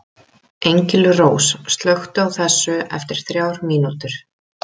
Engilrós, slökktu á þessu eftir þrjár mínútur.